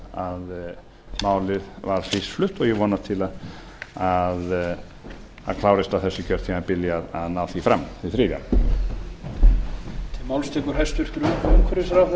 síðan málið var fyrst flutt og ég vonast til að það klárist á þessu kjörtímabili að ná því fram því þriðja